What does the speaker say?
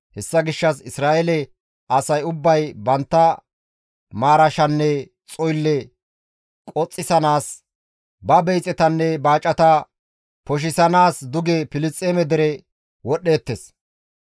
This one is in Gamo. Hessa gishshas Isra7eele asay ubbay bantta maarashanne xoylle qoxisanaas, ba beyixetanne baacata poshisanaas duge Filisxeeme dere wodhdheettes.